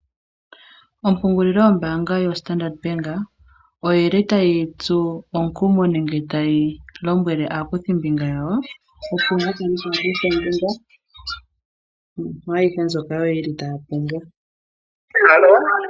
Ompungulilo yombaanga yoStandard Bannk oyi li tayi tsu omukumo nenge tayi lombwele aakuthimbinga yawo, opo ya ka kuthe ombinga mwaayihe mbyoka yo ye li taya pumbwa.